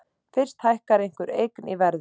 Fyrst hækkar einhver eign í verði.